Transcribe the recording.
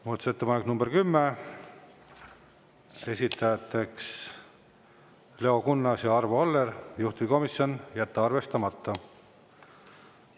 Muudatusettepanek nr 10, esitajateks Leo Kunnas ja Arvo Aller, juhtivkomisjon: jätta arvestamata.